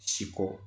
Si ko